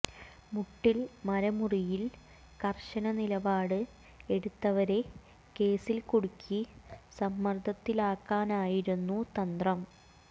മുട്ടിൽ മരമുറിയിൽ കർശന നിലപാട് എടുത്തവരെ കേസിൽ കുടുക്കി സമ്മർദ്ദത്തിലാക്കാനായിരുന്നു തന്ത്രം